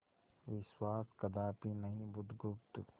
विश्वास कदापि नहीं बुधगुप्त